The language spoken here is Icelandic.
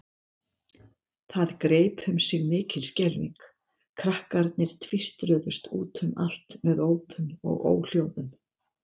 Það greip um sig mikil skelfing, krakkarnir tvístruðust út um allt með ópum og óhljóðum.